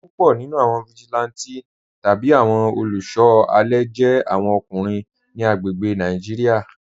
Púpọ̀ nínú awọn vigilante tabi awọn olùṣọ alẹ jẹ̀ awọn ọkùnrin ni agbègbè̀ Nàìjíríà.